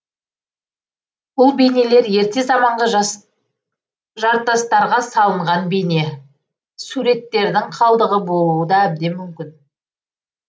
бұл бейнелер ерте заманғы жартастарға салынған бейне суреттердің қалдығы болуы да әбден мүмкін